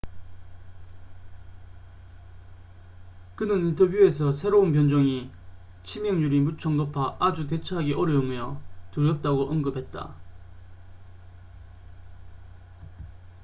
그는 인터뷰에서 새로운 변종이 치명률이 무척 높아 아주 대처하기 어려우며 두렵다고 언급했다